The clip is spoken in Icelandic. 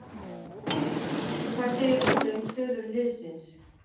Hvað segir Óli um stöðu liðsins?